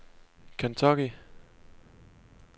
Kentucky